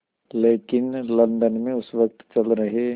लेकिन लंदन में उस वक़्त चल रहे